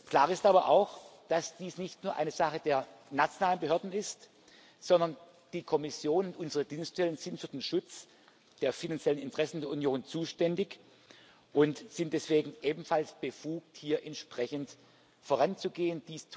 Klar ist aber auch, dass dies nicht nur eine Sache der nationalen Behörden ist, sondern die Kommission unsere Dienststellen sind für den Schutz der finanziellen Interessen der Europäischen Union zuständig und sind deswegen ebenfalls befugt, hier entsprechend voranzugehen.